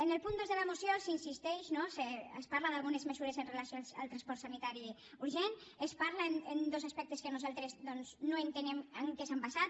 en el punt dos de la moció s’insisteix no es parla d’algunes mesures amb relació al transport sanitari urgent se’n parla en dos aspectes que nosaltres doncs no entenem en què s’han basat